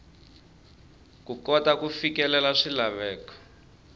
ku kota ku fikelela swilaveko